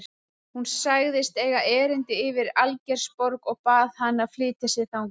Hún sagðist eiga erindi yfir í Algeirsborg og bað hann að flytja sig þangað.